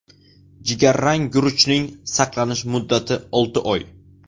Jigarrang guruchning saqlanish muddati olti oy.